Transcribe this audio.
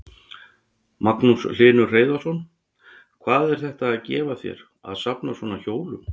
Magnús Hlynur Hreiðarsson: Hvað er þetta að gefa þér að safna svona hjólum?